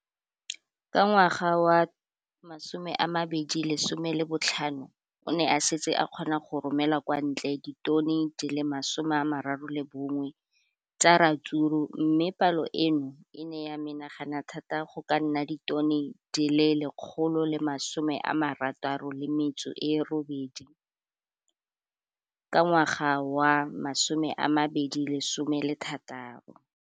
Ka ngwaga wa 2015, o ne a setse a kgona go romela kwa ntle ditone di le 31 tsa ratsuru mme palo eno e ne ya menagana thata go ka nna ditone di le 168 ka ngwaga wa 2016.